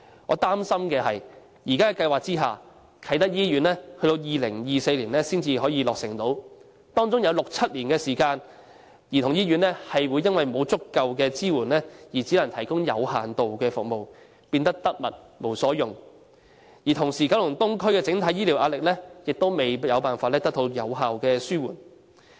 我擔心的是，在現時的計劃下，啟德醫院要到2024年才可落成，其間有六七年時間，香港兒童醫院會因為沒有足夠支援而只能提供有限度的服務，變成得物無所用；同時，九龍東的整體醫療服務壓力亦無法有效紓緩。